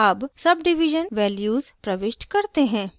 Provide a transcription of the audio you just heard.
अब subdivision values प्रविष्ट करते हैं